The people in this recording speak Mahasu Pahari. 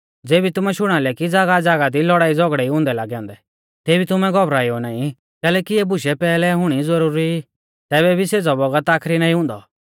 ज़ेबी तुमै शुणा लै कि ज़ागाहज़ागाह दी लौड़ाईझ़ौगड़ै ई हुंदै लागौ औन्दै तेबी तुमै घौबराएऊ नाईं कैलैकि इऐ बुशै पैहलै हुणी ज़ुरुरी ई तैबै भी सेज़ौ बौगत आखरी नाईं हुन्दौ